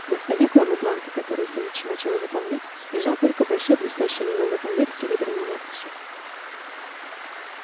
на столе кроме бланка который филч начал заполнять лежал только большой блестящий лиловый конверт с серебряной надписью